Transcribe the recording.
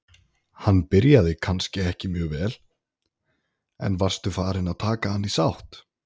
Hann byrjaði kannski ekki mjög vel, en varstu farinn að taka hann í sátt?